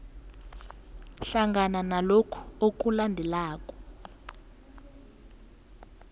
hlangana lokhu okulandelako